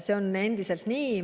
See on endiselt nii.